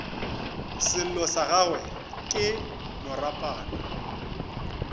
sello sa gagwe ke moropana